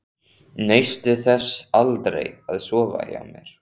Naustu þess aldrei að sofa hjá mér?